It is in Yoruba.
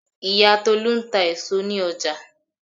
Ìyá Tolu ń ta èso ní ọjà.